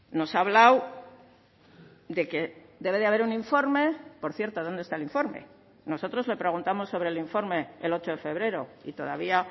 nos ha hablado de que debe de haber un informe por cierto dónde está el informe nosotros le preguntamos sobre el informe el ocho de febrero y todavía